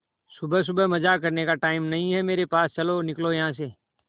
सुबह सुबह मजाक करने का टाइम नहीं है मेरे पास चलो निकलो यहां से